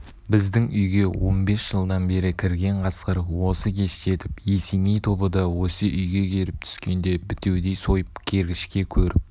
біздің үйге он бес жылдан бері кірген қасқыр осы кештетіп есеней тобы да осы үйге келіп түскенде бітеудей сойып кергішке көріп